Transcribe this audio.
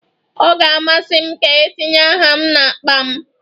Ọ ga-amasị m ka etinye aha m n'akpa m.